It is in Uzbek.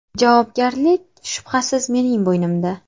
Javobgarlik, shubhasiz, mening bo‘ynimda.